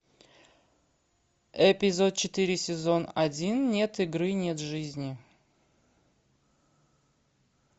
эпизод четыре сезон один нет игры нет жизни